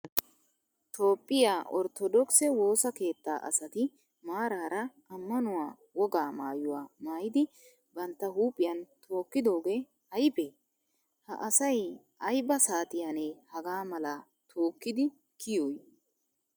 Toophphiyaa orttodokise woosaa keettaa asaati maarara ammanuwaa wogaa maayuwaa maayidi bantta huuphphiyan tookidoge aybe? Ha asay ayba saatiyanne hagaa mala tookkidi kiyoy?